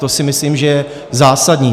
To si myslím, že je zásadní.